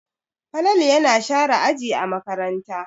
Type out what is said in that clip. Falalu yana share aji a makaranta.